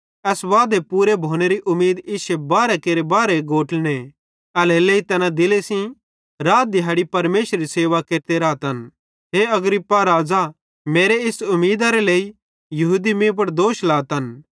एस वादेरे पूरे भोनेरी उमीद इश्शे बारहे केरे बारहे गोत्रने एल्हेरेलेइ तैना दिले सेइं रात दिहाड़ी परमेशरेरी सेवा केरते रातन हे अग्रिप्पा राज़ा मेरी इस उमीदरे लेइ यहूदी मीं पुड़ दोष लातन